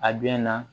A biɲɛ na